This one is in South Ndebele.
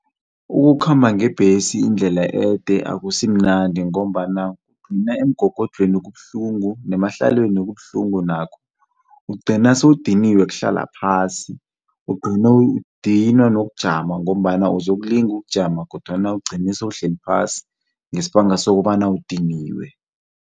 Ukukhamba ngebhesi indlela ede akasimnandi ngombana kugcina emgogodlweni kubuhlungu nemahlalweni kubuhlungu nakho. Ugcina sewudiniwe ukuhlala phasi, ugcine udinwa nokujama ngombana uzokulinga ukujama kodwana ugcine sewuhleli phasi ngesibanga sokobana udiniwe.